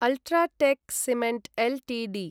UltraTech cement Ltd